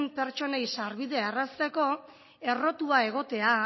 pertsonei sarbidea errazteko errotua egotea